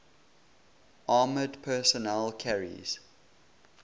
armoured personnel carriers